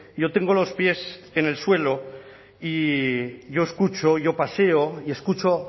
yo tengo los pies en el suelo y yo escucho yo paseo y escucho